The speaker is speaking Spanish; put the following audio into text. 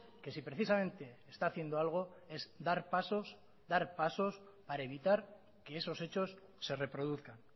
que si precisamente está haciendo algo es dar pasos dar pasos para evitar que esos hechos se reproduzcan